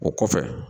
O kɔfɛ